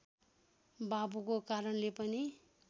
बाबुको कारणले पनि